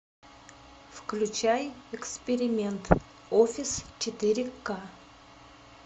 включай эксперимент офис четыре ка